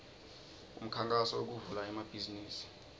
umkhankaso wekuvula emabhizimisi